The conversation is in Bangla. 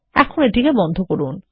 এখন এটি বন্ধ করুন